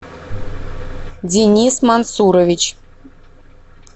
денис мансурович